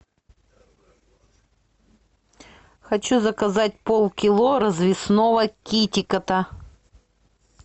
хочу заказать полкило развесного китикета